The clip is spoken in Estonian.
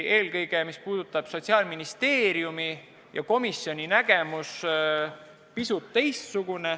Eelkõige oli pisut erinev Sotsiaalministeeriumi ja komisjoni nägemus.